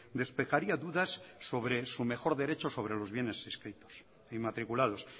despejaría dudas sobre su mejor derecho sobre los bienes inscritos inmatriculados